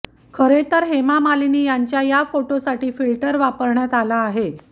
खरेतर हेमा मालिनी यांच्या या फोटोसाठी फिल्टर वापरण्यात आला आहे